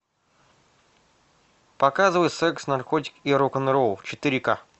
показывай секс наркотики и рок н ролл четыре ка